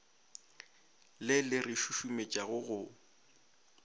le le re šušumetšago go